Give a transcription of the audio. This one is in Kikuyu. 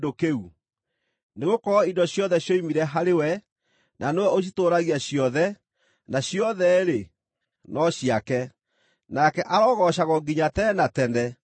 Nĩgũkorwo indo ciothe cioimire harĩ we, na nĩwe ũcitũũragia ciothe, na ciothe-rĩ, no ciake. Nake arogoocagwo nginya tene na tene! Ameni.